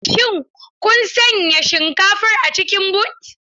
Shin kun sanya shinkafar a cikin but?